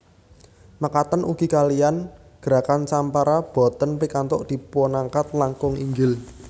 Mekaten ugi kaliyan gerakan sampara boten pikantuk dipunangkat langkung inggil